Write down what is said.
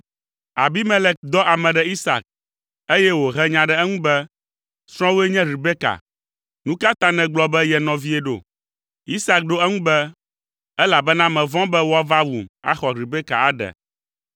Abimelek dɔ ame ɖe Isak, eye wòhe nya ɖe eŋu be, “Srɔ̃wòe nye Rebeka! Nu ka ta nègblɔ be ye nɔvie ɖo?” Isak ɖo eŋu be, “Elabena mevɔ̃ be woava wum, axɔ Rebeka aɖe.”